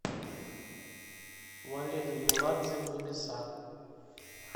валерий меладзе небеса